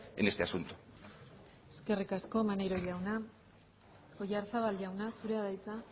en este asunto eskerrik asko maneiro jauna oyarzabal jauna zurea da hitza